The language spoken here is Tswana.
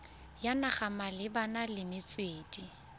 ya naga malebana le metswedi